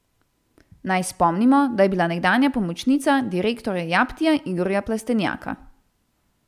Naj spomnimo, da je bila nekdanja pomočnica direktorja Japtija Igorja Plestenjaka.